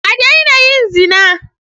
A daina yin zina.